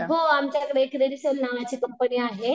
हो आमच्याकडे सेल नावाची कंपनी आहे.